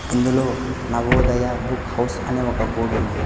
ఇందులో Navodaya book house అని ఒక బోర్డు ఉంది.